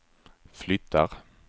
flyttar